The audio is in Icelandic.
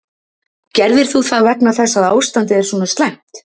Gerðir þú það vegna þess að ástandið er svona slæmt?